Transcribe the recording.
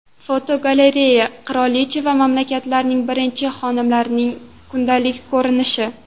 Fotogalereya: Qirolicha va mamlakatning birinchi xonimlarining kundalik ko‘rinishi.